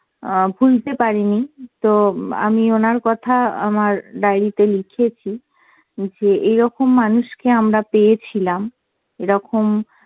অ্যাঁ ভুলতে পারিনি, তো আমি ওনার কথা আমার diary তে লিখেছি যে এইরকম মানুষকে আমরা পেয়েছিলাম। এরকম